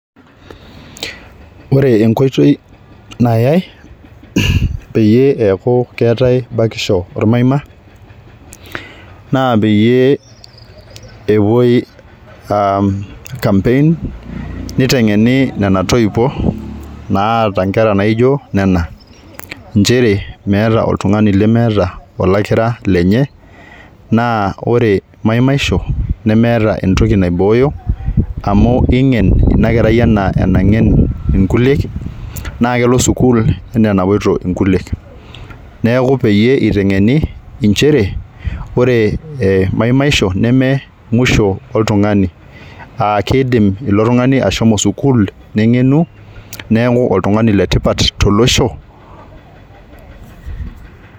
Ore enkoitoi nayay pee eku keetae bakisho ormaima naa peyie epuoi aa campaign nitengeni nena toiwuo naata nkera naijo nena nchere meeta oltungani lemeeta olakira lenye naa ore maimaisho nemeeta entoki naibooyo amu ingen inakerai enaa enaingen nkuliek naa kepoito sukuul enaa enapoito nkulie neeku peyie itengeni inchere , ore maimaisho nememwisho oltungani aakidim ilo tungani ashomo sukuul , nengenu neeku oltungani letipat tolosho.